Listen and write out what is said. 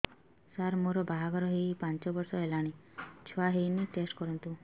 ସାର ମୋର ବାହାଘର ହେଇ ପାଞ୍ଚ ବର୍ଷ ହେଲାନି ଛୁଆ ହେଇନି ଟେଷ୍ଟ କରନ୍ତୁ